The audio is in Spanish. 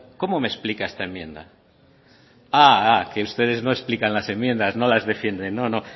cómo me explica esta enmienda ah ah que ustedes no explican las enmiendas no las defiendes no no